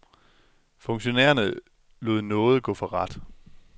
Funktionærerne lod nåde gå for ret.